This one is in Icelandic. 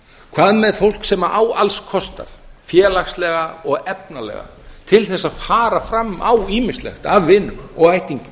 hvað með fá sem á alls kostar félagslega og efnalega til þess að fara fram á ýmislegt af vinum og ættingjum